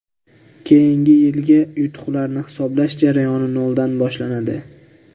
Keyingi yilgi yutuqlarni hisoblash jarayoni noldan boshlanadi.